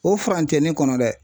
O furancɛnin kɔnɔ dɛ